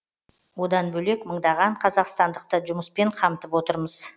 одан бөлек мыңдаған қазақстандықты жұмыспен қамтып отырмыз